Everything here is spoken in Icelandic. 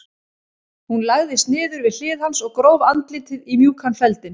Hún lagðist niður við hlið hans og gróf andlitið í mjúkan feldinn.